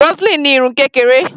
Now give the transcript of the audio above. Roseline ní irun kékeré.